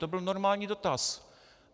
To byl normální dotaz.